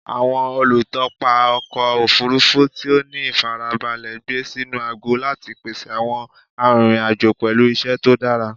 Awọn olutọpa ọkọ ofurufu ti o ni ifarabalẹ gbe sinu agọ lati pese awọn arinrin-ajo pẹlu iṣẹ to dara